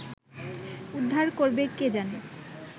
উদ্ধার করবে কে জানে